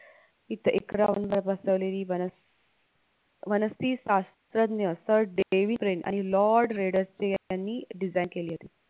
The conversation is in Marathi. इथं एकरांवर बसवलेली वनस वनस्ती सास्रज्ञ sir डेविड वरींग आणि lord रोडस यांनी design केली होती